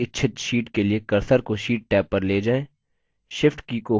tab आखरी इच्छित sheet के लिए cursor को sheet टैब पर ले जाएँ